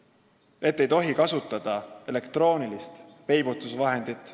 Ja veel see, et ei tohi kasutada elektroonilist peibutusvahendit.